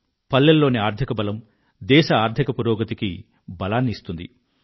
పల్లెల్లోని ఆర్థిక బలం దేశ ఆర్థిక పురోగతికి బలాన్నిస్తుంది